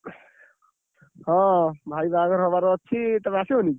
ହଁ, ଭାଇ ବାହାଘର ହବାର ଅଛି ତମେ ଆସିବନି?